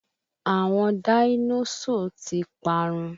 Àwọn dáínósọ̀ ti parun